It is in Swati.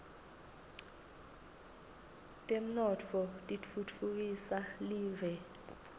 temnotfo titfutfukisa live